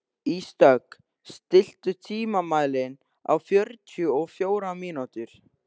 Ísdögg, stilltu tímamælinn á fjörutíu og fjórar mínútur.